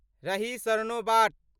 रहि सरनोबाट